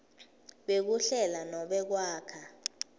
bekuhlela nobe kwakha